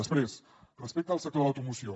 després respecte al sector de l’automoció